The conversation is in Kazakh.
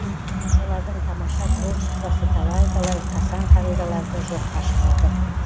олардың тамаша творчествосы талай талай қасаң қағидаларды жоққа шығарды